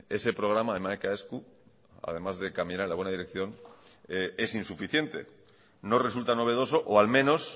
ese programa de hamaika esku además de caminar en la buena dirección es insuficiente no resulta novedoso o al menos